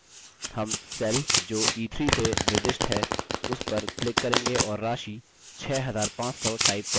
हम cell जो e3 से निर्दिष्ट है उस पर click करेंगे और राशि 6500 type करेंगे